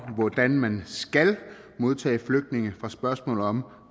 hvordan man skal modtage flygtninge fra spørgsmålet om